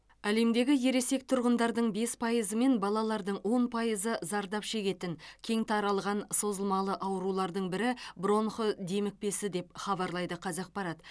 әлемдегі ересек тұрғындардың бес пайызы мен балалардың он пайызы зардап шегетін кең таралған созылмалы аурулардың бірі бронх демікпесі деп хабарлайды қазақпарат